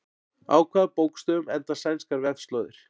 Á hvaða bókstöfum enda sænskar vefslóðir?